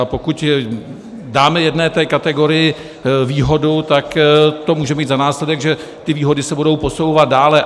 A pokud dáme jedné té kategorii výhodu, tak to může mít za následek, že ty výhody se budou posouvat dále.